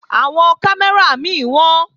Àwọn kámẹ́rà mí wọ́n